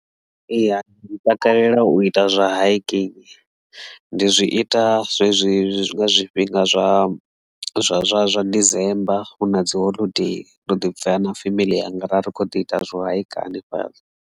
Eya ndi takalela u ita zwa haiking ndi zwi ita zwezwi zwi nga zwifhinga zwa zwa zwa zwa December huna dzi holodei ndo ḓi bvela na femeḽi yanga ra ri kho ḓi ita zwo haika hanefhaḽa.